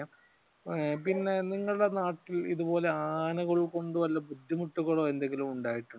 പിന്നെ നിങ്ങളുടെ നാട്ടിൽ ഇതുപോലെ ആനകൾ കൊണ്ട് വല്ല ബുദ്ധിമുട്ടുകൾ എന്തെങ്കിലും ഉണ്ടായിട്ടുണ്ടോ?